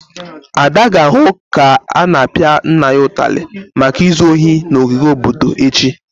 Ada ga-ahụ ka a na-apia nna ya ụtarị maka izu ohi n'ogige obodo echi.